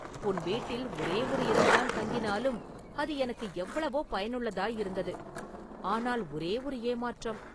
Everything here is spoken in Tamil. உன் வீட்டில் ஒரே ஒரு இரவுதான் தங்கினாலும் அது எனக்கு எவ்வளவோ பயனுள்ளதாயிருந்தது.ஆனால் ஒரே ஒரு ஏமாற்றம்.